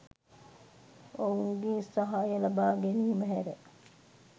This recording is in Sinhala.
ඔවුන්ගේ සහාය ලබාගැනීම හැර